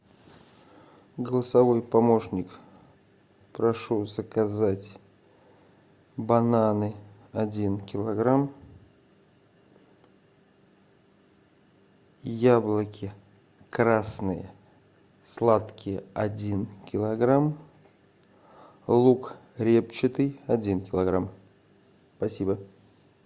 голосовой помощник прошу заказать бананы один килограмм яблоки красные сладкие один килограмм лук репчатый один килограмм спасибо